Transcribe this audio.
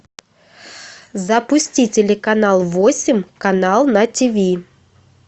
запусти телеканал восемь канал на тв